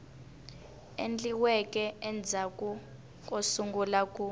endliweke endzhaku ko sungula ku